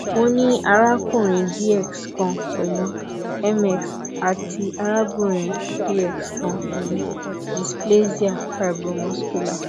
mo ni arakunrin dx kan pẹlu ms ati arabinrin dx kan pẹlu displasia fibromuscular